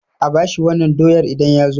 A bashi wannan doyar idan ya zo